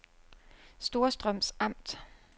Storstrøms Amt